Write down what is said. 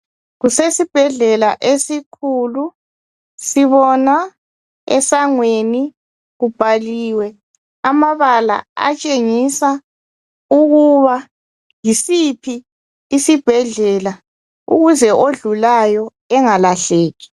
Kusesibhedlela esikhulu. Sibona esangweni kubhaliwe amabala atshengisa ukuba yisiphi isibhedlela ukuze odlulayo engalahleki.